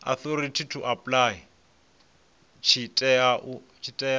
authority to apply tshi tea